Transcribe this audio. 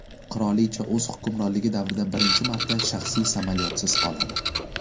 Qirolicha o‘z hukmronligi davrida birinchi marta shaxsiy samolyotsiz qoladi.